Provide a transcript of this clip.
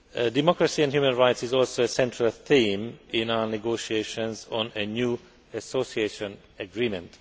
Democracy and human rights are also a central theme in our negotiations on a new association agreement.